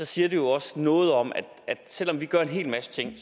siger det jo også noget om at selv om vi gør en hel masse ting